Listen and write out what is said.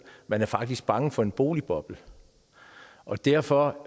man er faktisk bange for en boligboble og derfor